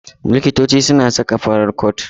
Likitoci suna saka farar cot.